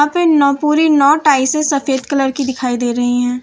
यहां पे नौपूरी नौ टाईसे सफेद कलर की दिखाई दे रही हैं।